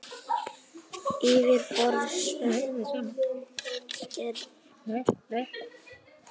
Yfirborðsvatn er aftur á móti iðulega mengað af mold og öðrum óhreinindum.